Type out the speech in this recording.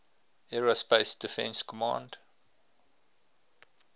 aerospace defense command